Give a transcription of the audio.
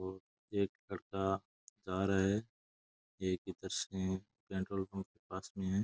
और एक लड़का जा रहा है पेट्रोल पंप के पास में है।